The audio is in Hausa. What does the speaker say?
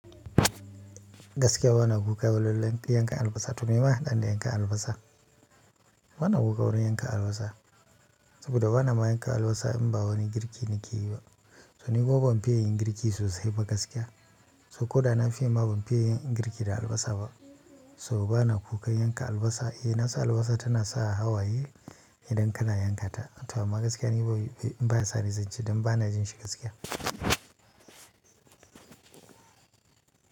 Gaskiya ba na kuka wa lallai in ka yanka albasa to me ma ya haɗa ni da yanka albasa? Ba na kuka wurin yanka albasa saboda ba na ma yanka albasa in ba wani girki ni ke yi ba. So ni kuma ban fiya yin girki sosai ba gaskiya. So ko da na fite ma ban fiya yin girki da albasa ba. So ba na kuka yanka albasa. Eh na san albasa tana sa hawaye idan kana yankata. To amma gaskiya ni ba in baya sane zanci don ba na jin shi gaskiya.